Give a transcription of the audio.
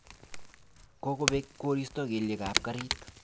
Kokobek koristo kelyekab garit